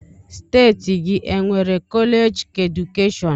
Steeti gị e nwere kọleeji keedukeshọn?